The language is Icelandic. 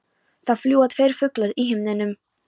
Það fljúga tveir fuglar í himninum.